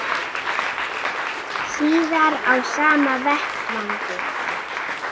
Síðar á sama vettvangi